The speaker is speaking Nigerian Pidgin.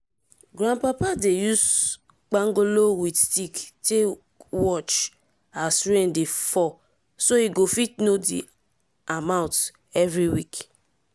grandpapa dey use pangolo with stick take watch as rain dey fall so e go fit know di amount everi week.